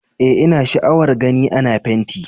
Eh, ina sha'awar gani ana fenti